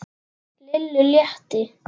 Lillu létti.